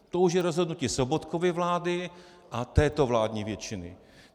To už je rozhodnutí Sobotkovy vlády a této vládní většiny.